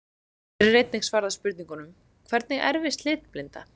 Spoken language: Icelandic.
Hér er einnig svarað spurningunum: Hvernig erfist litblinda?